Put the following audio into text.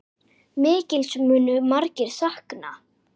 Mikils munu margir sakna.